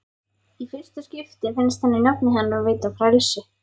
Í fyrsta skipti finnst henni nafnið hennar veita frelsi.